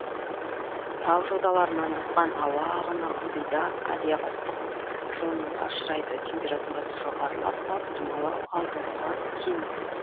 тау жоталарынан асқан ауа ағыны ылдида адиабаттық жылынуға ұшырайды температурасы жоғарылап салыстырмалы ылғалдылығы кемиді